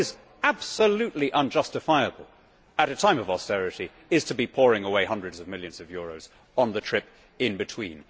But what is absolutely unjustifiable, at a time of austerity, is to be pouring away hundreds of millions of euros on the trip in between.